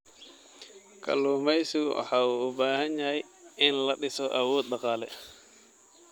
Kalluumaysigu waxa uu u baahan yahay in la dhiso awood dhaqaale.